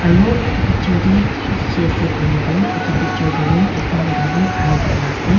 aro edu picture tae ki dikhi ase koilae tu edu picture tae tu ekta mota tu khara kurina ase.